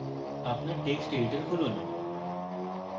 আপনার text editor খুলুন